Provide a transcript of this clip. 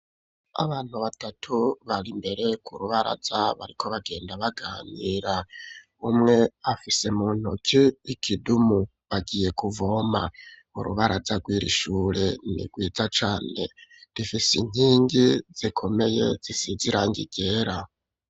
Abantu batatu bari imbere ku rubaraza ,bariko bagenda baganira umwe afise mu ntuki ikidumu bagiye kuvoma ,urubaraza rw'iri shure nigwiza cane rifisi nkingi zikomeye zisizirangi ryera.